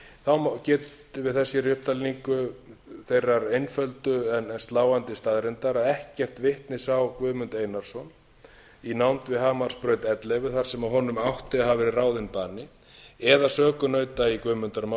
þá getum við þess hér í upptalningu þeirrar einföldu aka sláandi staðreyndar að ekkert vitni sá guðmund einarsson í nánd við hamarsbraut ellefu þar sem honum átti að hafa verið ráðinn bani eða sökunauta í guðmundarmáli